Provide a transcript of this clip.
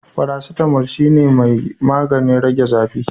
faracetamol shine mai maganin rage zafi.